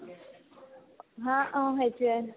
haa অ সেইটোয়ে